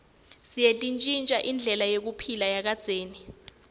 seyantjintja indlela yekuphila yakadzeni